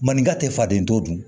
Maninka tɛ faden to dun